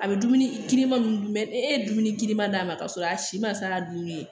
A bɛ dumuni girinman i ye dumuni girinman d'a ma k'a sɔrɔ a si ma s'a dunni ye